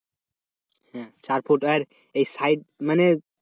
এই সাইড মানে সব দিকেই চার ফুট করে ছাড়বো তো